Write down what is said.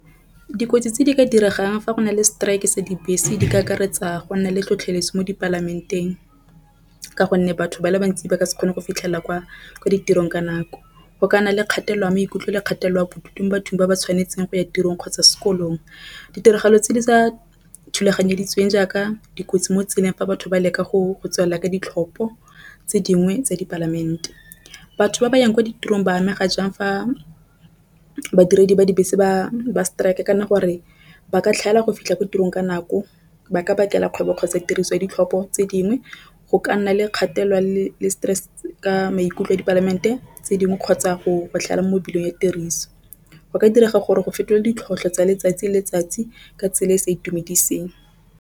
Dikotsi tse di ka diregang fa go na le strike sa dibese di ka akaretsa go nna le tlhotlheletso mo di palamenteng, ka gonne batho ba le bantsi ba ka se kgone go fitlhelela kwa ditirong ka nako. Go ka nna le kgatelelo ya maikutlo le kgatelelo a bodutu mo bathong ba ba tshwanetseng go ya tirong kgotsa sekolong. Ditiragalo tse di sa thulaganyo tladitsweng jaaka dikotsi mo tseleng fa batho ba leka go tswelela ka ditlhopho tse dingwe tsa di palamente. Batho ba ba yang kwa ditirong ba amega jang fa badiredi ba dibese ba strike kana gore ba ka tlhaela go fitlha ko tirong ka nako. Ba ka bakela kgwebo, kgotsa tiriso ya ditlhopho tse dingwe go ka nna le kgatelelo le stress ka maikutlo a di palamente tse dingwe kgotsa go botlhale mo mebileng ya tiriso. Go ka direga gore go fetola ditlhotlhwa tsa letsatsi le letsatsi ka tsela e e sa itumediseng.